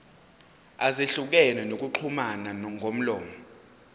ezahlukene zokuxhumana ngomlomo